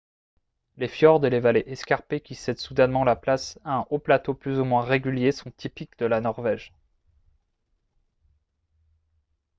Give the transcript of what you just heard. les fjords et les vallées escarpées qui cèdent soudainement la place à un haut plateau plus ou moins régulier sont typiques de la norvège